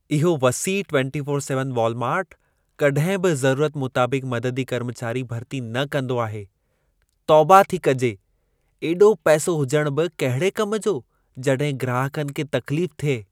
इहो वसीउ 24x7 वॉलमार्टु, कॾहिं बि ज़रूरत मुताबिक़ मददी कर्मचारी भरिती न कंदो आहे। तौबा थी कजे, एॾो पैसो हुजणु बि कहिड़े कम जो, जॾहिं ग्राहकनि खे तकलीफ़ थिए।